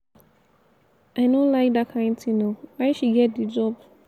i no like dat kin thing oo why she get the job?